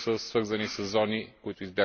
Vielen Dank, Herr Kollege Kalfin!